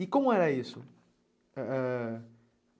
E como era isso? Eh